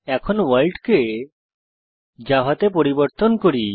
এখন ভোর্ল্ড কে জাভা তে পরিবর্তন করি